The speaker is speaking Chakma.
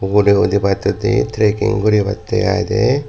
ugure udibattoi di tracking guribatte iy de.